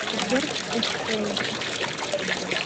сбер эстрэй